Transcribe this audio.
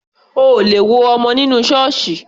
O ò lè wo ọmọ nínú Ṣọọṣi